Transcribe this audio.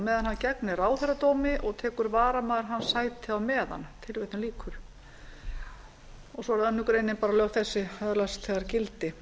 meðan hann gegnir ráðherradómi og tekur varamaður hans sætið á meðan svo er önnur grein lög þessi öðlast þegar gildi